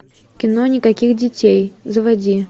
кино никаких детей заводи